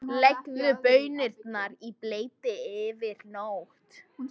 Leggið baunirnar í bleyti yfir nótt.